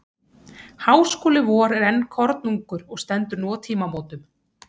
Háskóli vor er enn kornungur og stendur nú á tímamótum.